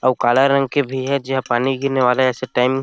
आऊ काला रंग के भी हे जिहां पानी गिरने वाला हे ऐसे टाइम --